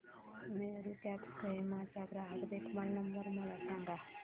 Meru cabs Kohima चा ग्राहक देखभाल नंबर मला सांगा